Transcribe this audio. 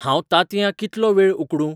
हांंव तांतयां कितलो वेळ उकडूं?